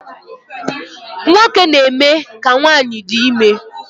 Nwoke na-eme ka nwanyị di ime